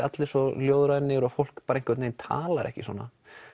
allir svo ljóðrænir og fólk bara einhvern veginn talar ekki svona